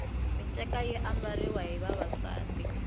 minceka yi ambariwa hi vavasati